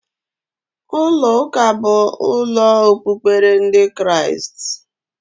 Ulo uka bu ulo okpukperechi ndi Kriast